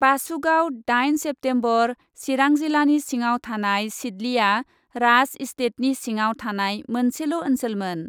बासुगाव, दाइन सेप्तेम्बर, चिरां जिल्लानि सिङाव थानाय सिद्लीआ राज इस्टेटनि सिङाव थानाय मोनसे ओन्सोलमोन।